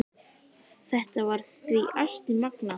Þetta var því ansi magnað.